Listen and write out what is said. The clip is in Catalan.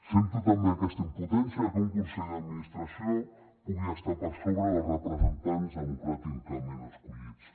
sento també aquesta impotència que un consell d’administració pugui estar per sobre dels representants democràticament escollits